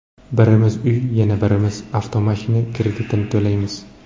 Birimiz uy, yana birimiz avtomashina kretidini to‘laymiz.